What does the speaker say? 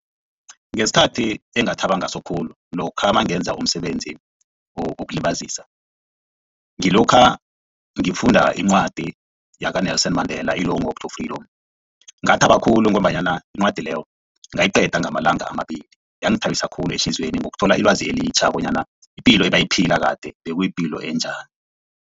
Ngesikhathi engathaba ngaso khulu lokha nangenza umsebenzi wokulibazisa ngilokha ngifunda incwadi yakaNelson Mandela i-Long Walk To Freedom. Ngathaba khulu ngombanyana incwadi leyo ngayiqeda ngamalanga amabili yangithabisa khulu ehliziyweni ngokuthola ilwazi elitjha bonyana ipilo ebayiphila kade bekuyi ipilo enjani.